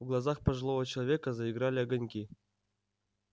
в глазах пожилого человека заиграли огоньки